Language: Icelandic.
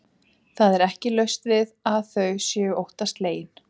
Það er ekki laust við að þau séu óttaslegin.